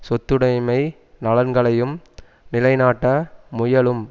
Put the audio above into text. சொத்துடைமை நலன்களையும் நிலைநாட்ட முயலும்